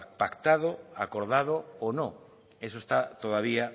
pactado acordado o no eso está todavía